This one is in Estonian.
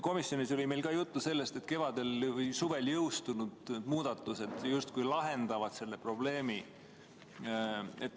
Komisjonis oli meil juttu sellest, et kevadel või suvel jõustunud muudatused justkui lahendavad selle probleemi.